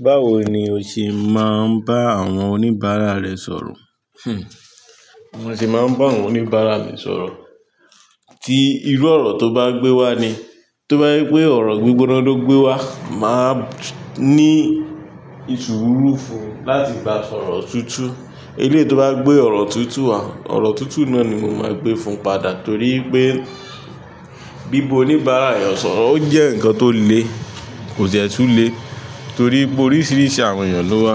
Báwo ni o ṣe máa ń bá àwọn oníbàárà rẹ sọ̀rọ̀? Hmm, mo sì máa ń bá àwọn oníbàárà mi sọ̀rọ̀. Tí irú ọ̀rọ̀ tó bá gbé wá ni. Tó bá jẹ́ pé ọ̀rọ̀ gbígbóná ló gbé wá, mà ní ìsùrù fún láti bá sọ̀rọ̀ tútù. Eléyìí tó bá gbé ọ̀rọ̀ tútù wá, ọ̀rọ̀ tútù náà ni mo máa gbé fún padà, torí pé bí ba oníbàárà èèyàn sọ̀rọ̀, ó jẹ́ nǹkan tó le, kò dẹ̀ tùn lé torí pé oríṣiríṣi àwọn èèyàn ló wá.